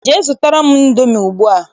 Jee zụtara m Indomi ugbua!